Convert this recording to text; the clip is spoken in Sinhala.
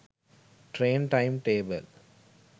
train time table